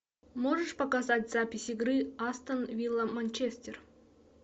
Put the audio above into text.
можешь показать запись игры астон вилла манчестер